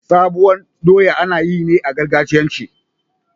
sabon doya anayi ne a gargajiyance